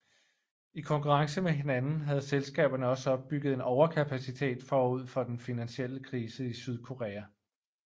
I konkurrence med hinanden havde selskaberne også opbygget en overkapacitet forud for den finansielle krise i Sydkorea